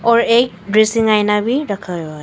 और एक आईना भी रखा हुआ है।